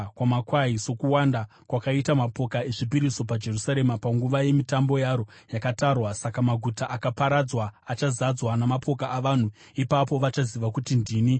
sokuwanda kwakaita mapoka ezvipiriso paJerusarema panguva yemitambo yaro yakatarwa. Saka maguta akaparadzwa achazadzwa namapoka avanhu. Ipapo vachaziva kuti ndini Jehovha.”